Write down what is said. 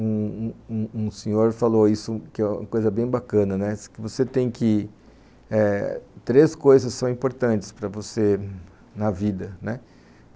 Um um um senhor falou isso, que é uma coisa bem bacana, que você tem que... Três coisas são importantes para você na vida, né